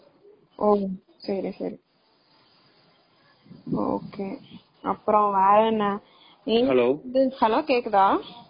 Hello கேக்குதா?